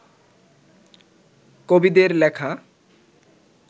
কবিদের লেখা